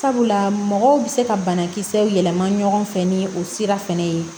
Sabula mɔgɔw bɛ se ka banakisɛw yɛlɛma ɲɔgɔn fɛ ni o sira fɛnɛ ye